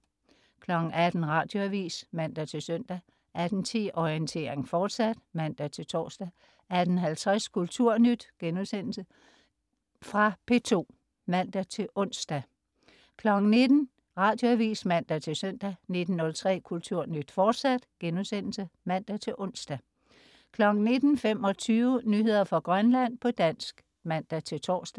18.00 Radioavis (man-søn) 18.10 Orientering, fortsat (man-tors) 18.50 Kulturnyt.* Genudsendelse fra P2 (man-ons) 19.00 Radioavis (man-søn) 19.03 Kulturnyt, fortsat* (man-ons) 19.25 Nyheder fra Grønland, på dansk (man-tors)